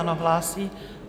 Ano, hlásí.